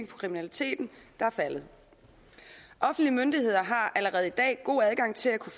på kriminaliteten der er faldet offentlige myndigheder har allerede i dag god adgang til at kunne